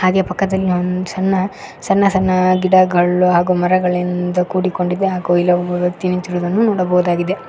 ಅಂಗೆ ಪಕ್ಕದಲ್ಲಿ ಒಂದ್ ಸಣ್ಣ ಸಣ್ಣ ಸಣ್ಣ ಗಿಡಗಳು ಹಾಗು ಮರಗಳಿಂದ ಕೂಡಿಕೊಂಡಿದೆ ಹಾಗ ಇಲ್ಲೊಬ್ಬ ವ್ಯಕ್ತಿ ನಿಂತಿರುವುದನ್ನ ನೋಡಬಹುದು.